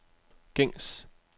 gængs